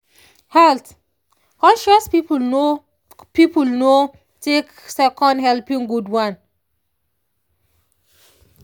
health-conscious people no people no take second helping good one.